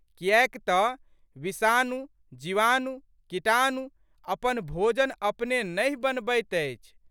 कियैक तऽ विषाणु, जीवाणु, कीटाणु अपन भोजन अपने नहि बनबैत अछि।